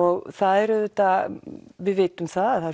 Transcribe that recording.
og það er auðvitað við vitum það